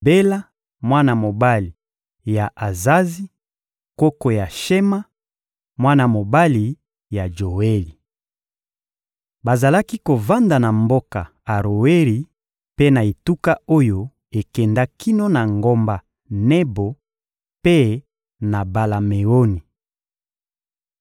Bela, mwana mobali ya Azazi, koko ya Shema, mwana mobali ya Joeli. Bazalaki kovanda na mboka Aroeri mpe na etuka oyo ekenda kino na ngomba Nebo mpe na Bala-Meoni.